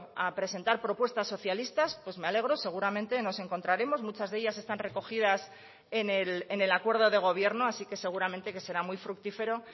a presentar propuestas socialistas pues me alegro seguramente nos encontraremos muchas de ellas están recogidas en el acuerdo de gobierno así que seguramente que será muy fructífero